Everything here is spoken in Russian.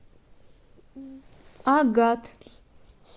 агат